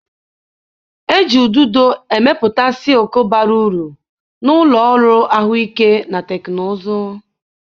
Eji ududo emepụta silk bara uru na ụlọ ọrụ ahụike na teknụzụ.